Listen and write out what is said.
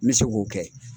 N bɛ se k'o kɛ